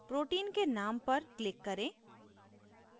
protein के name पर click करें